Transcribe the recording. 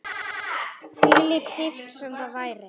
Hvílík dýpt sem það væri.